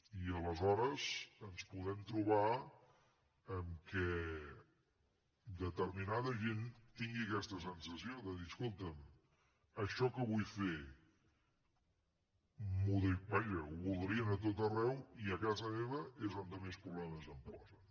i aleshores ens podem trobar que determinada gent tingui aquesta sensació de dir escolta’m això que vull fer vaja ho voldrien a tot arreu i a casa meva és on més problemes em posen